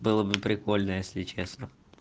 было бы прикольно если честно